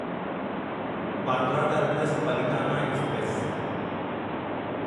Bandra terminus Palitana express